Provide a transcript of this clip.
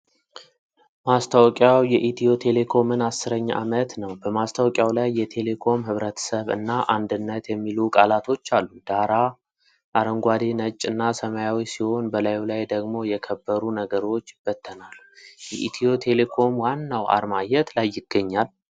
ማስታወቂያው የኢትዮ ቴሌኮምን አስረኛ ዓመት ነው። በማስታወቂያው ላይ "የቴሌኮም ሕብረተሰብ" እና "አንድነት" የሚሉ ቃላቶች አሉ። ዳራው አረንጓዴ፣ ነጭ እና ሰማያዊ ሲሆን፣ በላዩ ላይ ደግሞ የከበሩ ነገሮች ይበተናሉ። የኢትዮ ቴሌኮም ዋናው አርማ የት ላይ ይገኛል?